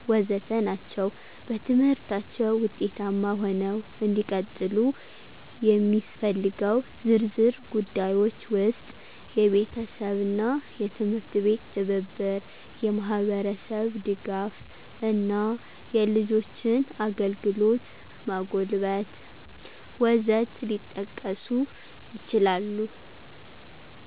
ወዘተ ናቸው። በትምህርታችው ውጤታማ ሆነው እንዲቀጥሉ የሚስፈልገው ዝርዝር ጉዳዮች ውስጥ፦ የቤተሰብና የትምህርት አቤት ትብብር፣ የማህብርስብ ድጋፍ እና የልጆችን አግልግሎት ማጎልበት..... ወዘት ሊጠቀሱ ይችላሉ።